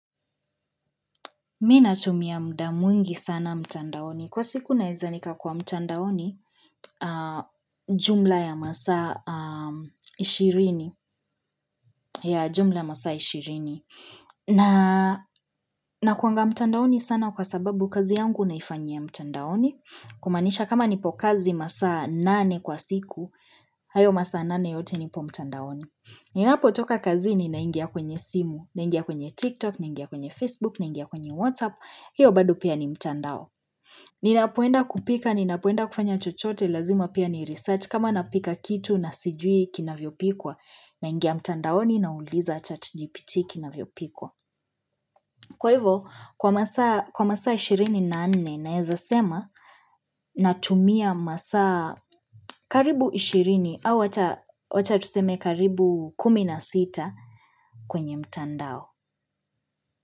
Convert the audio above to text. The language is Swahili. Mimi na tumia mda mwingi sana mtandaoni. Kwa siku naeza nika kuwa mtandaoni jumla ya masaa 20. Nakuanga mtandaoni sana kwa sababu kazi yangu naifanyia mtandaoni. Kumanisha kama nipo kazi masa 8 kwa siku, hayo masa 8 yote nipo mtandaoni. Ninapo toka kazi ni na ingia kwenye simu, na ingia kwenye TikTok, na ingia kwenye Facebook, na ingia kwenye WhatsApp. Hiyo bado pia ni mtandao ninapoenda kupika, ninapoenda kufanya chochote lazima pia ni research kama napika kitu na sijui kina vyopikwa na ingia mtandao ni nauliza chat GPT kina vyopikwa kwa hivyo, kwa masa ishirini na nne naeza sema natumia masa karibu ishirini au wacha tuseme karibu kumi na sita kwenye mtandao.